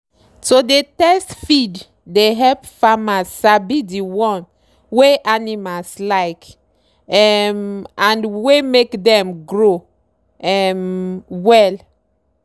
to dey test feed dey help farmer sabi the one wey animals like um and wey make dem grow um well.